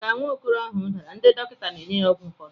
Ka nwa okoro ahụ dara, ndị dọkịta na-enye ya ọgwụ ụfọdụ.